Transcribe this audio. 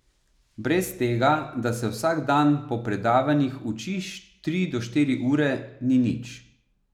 Brez tega, da se vsak dan po predavanjih učiš tri do štiri ure, ni nič.